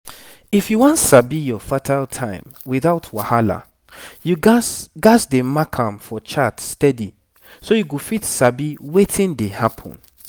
if you wan sabi your fertile time without wahala you gats gats dey mark am for chart steady so you go fit sabi wetin dey happen